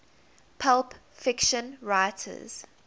pulp fiction writers